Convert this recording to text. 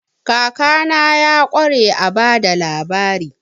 Kakana ya ƙware a ba da labari.